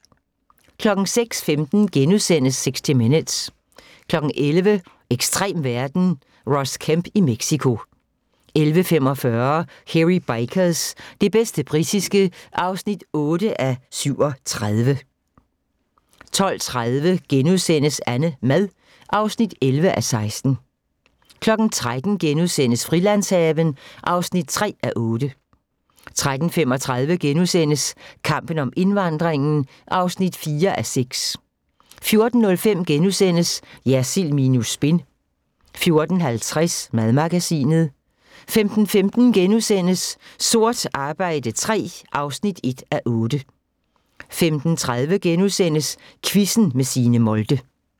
06:15: 60 Minutes * 11:00: Ekstrem verden - Ross Kemp i Mexico 11:45: Hairy Bikers – det bedste britiske (8:37) 12:30: AnneMad (11:16)* 13:00: Frilandshaven (3:8)* 13:35: Kampen om indvandringen (4:6)* 14:05: Jersild minus spin * 14:50: Madmagasinet 15:15: Sort arbejde III (1:8)* 15:30: Quizzen med Signe Molde *